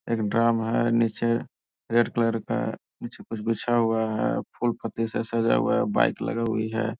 एक ड्रम हैं नीचे रेड कलर का नीचे कुछ बिछा हुआ हैं फूल-पत्ती से सजा हुआ है बाइक लगा हुई है।